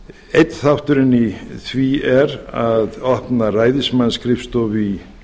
einn þátturinn í því er að opna ræðismannsskrifstofu í